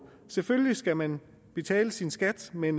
selvfølgelig skal man betale sin skat men